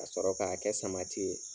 Ka sɔrɔ k'a kɛ samati ye.